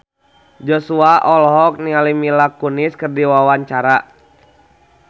Joshua olohok ningali Mila Kunis keur diwawancara